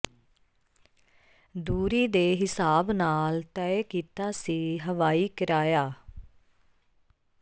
ਦੂਰੀ ਦੇ ਹਿਸਾਬ ਨਾਲ ਤੈਅ ਕੀਤਾ ਸੀ ਹਵਾਈ ਕਿਰਾਇਆ